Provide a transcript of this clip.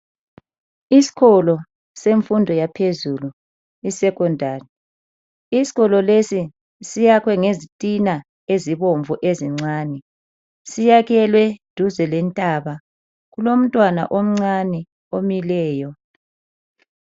Isikolo semfundo yaphezulu iSecondary. Isikolo lesi siyakhwe ngezitina ezibomvu ezincane. Siyakhelwe duze lentaba. Kulomntwana omncane omileyo.